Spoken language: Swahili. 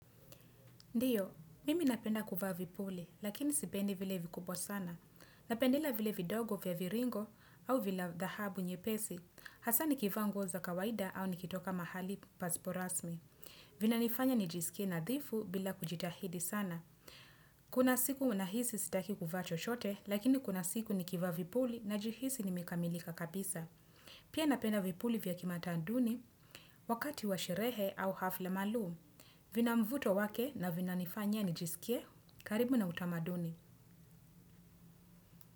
Ndiyo, mimi napenda kuvaa vipuli, lakini sipendi vile vikubwa sana. Napenda vile vidogo vya viringo au vila dhahabu nyepesi. Hasa nikivaa nguo za kawaida au nikitoka mahali pasipo rasmi. Vinanifanya nijisikie nadhifu bila kujitahidi sana. Kuna siku unahisi sitaki kuvaa chochote, lakini kuna siku nikivaa vipuli najihisi nimekamilika kabisa. Pia napenda vipuli vya kimatamaduni, wakati wa sherehe au hafla maalum. Vina mvuto wake na vinanifanya nijisikie. Karibu na utamaduni.